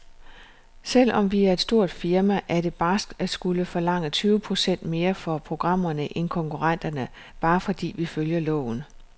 Selvom vi er et stort firma, er det barskt at skulle forlange tyve procent mere for programmerne end konkurrenterne, bare fordi vi følger loven.